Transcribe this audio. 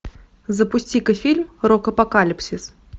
запусти ка фильм рок апокалипсис